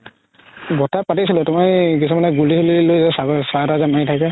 বৰতাই পাতিছিলে তুমাৰ এই কিছুমানে গোলি চোলি চৰাই যে মাৰি থাকে